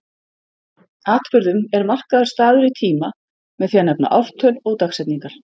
Atburðum er markaður staður í tíma með því að nefna ártöl og dagsetningar.